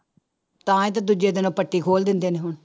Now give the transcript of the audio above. ਤਾਂ ਹੀ ਤਾਂ ਦੂਜੇ ਦਿਨ ਪੱਟੀ ਖੋਲ ਦਿੰਦੇ ਨੇ ਹੁਣ।